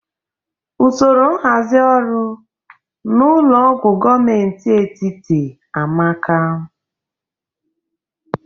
Usoro nhazi ọrụ na ụlọ ọgwọ gomenti etiti amaka